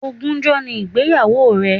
Ogúnjọ́ ni ìgbéyàwó rẹ̀